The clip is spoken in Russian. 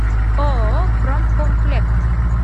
ооо промкомплект